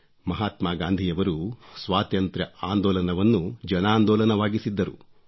ಮಾಹಾತ್ಮಾ ಗಾಂಧಿಯವರು ಸ್ವಾತಂತ್ರ್ಯ ಆಂದೋಲನವನ್ನು ಜನಾಂದೋಲನವನ್ನಾಗಿಸಿದ್ದರು